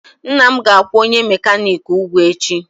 Nna m ga-akwụ onye mekaniki ụgwọ echi.